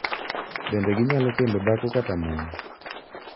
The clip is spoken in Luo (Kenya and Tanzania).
Bende ginyalo kendo dhako kata mon.